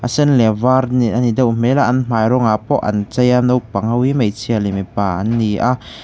sen leh var ani deuh hmel a an hmai rawngah pawh an chei a naupang ho hi hmeichhia leh mipa an ni a.